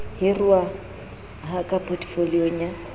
hiruwa ha ka potefoliong ya